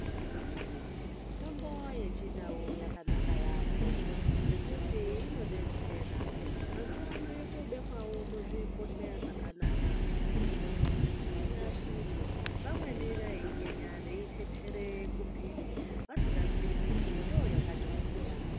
Mitombo yechindau yakanaka yambo ngekuti inodetsera, mazuwano yotobekwawo muzvibhodhleya zvakanaka kuitire kuti iashirike vamweni vaiinyenya veiitetere kumpiri vasingaziii kuti ndoyakatogwinya.